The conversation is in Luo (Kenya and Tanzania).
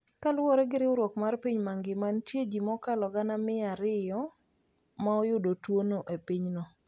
Kaluwore gi riwruok mar piny mangima, nitie ji mokalo gana gi gana mia ariyo ma oyudo tuwono e pinyno.